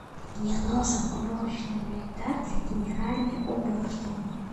мне нужен уборочный инвентарь для генеральной уборки